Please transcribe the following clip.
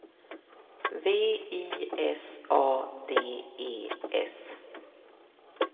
V I S A D E S